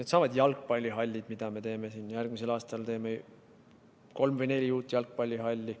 Needsamad jalgpallihallid, mida me teeme järgmisel aastal: me teeme kolm või neli uut jalgpallihalli.